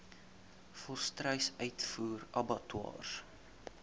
volstruis uitvoer abattoirs